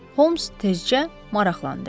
Holms tezcə maraqlandı.